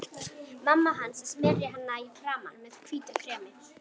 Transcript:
Mamma hans að smyrja hana í framan með hvítu kremi.